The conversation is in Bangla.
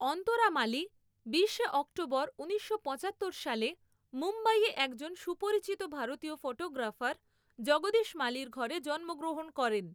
অন্তরা মালি বিশে অক্টোবর ঊনিশশো পঁচাত্তর সালে মুম্বাইয়ে একজন সুপরিচিত ভারতীয় ফটোগ্রাফার জগদীশ মালির ঘরে জন্মগ্রহণ করেন।